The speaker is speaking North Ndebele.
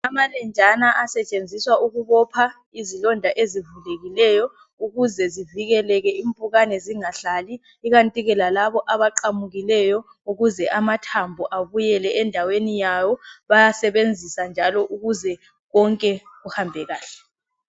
Amalenjana asetshenziswa ukubopha izilonda ezivulekileyo ukuze zivikeleke impukane zingahlali ikanti ke lalabo abaqamukileyo ukuze amathambo abuyele endaweni yawo bayasebenzisa njalo ukuze konke kuhambe kahle.